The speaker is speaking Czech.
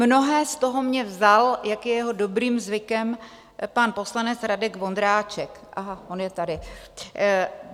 Mnohé z toho mi vzal, jak je jeho dobrým zvykem, pan poslanec Radek Vondráček... aha, on je tady.